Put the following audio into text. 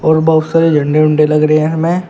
और बहुत सारे झंडे वंडे लग रहे हैं हमें।